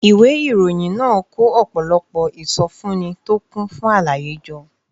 ìwé ìròyìn náà kó ọ̀pọ̀lọpọ̀ ìsọfúnni tó kún fún àlàyé jọ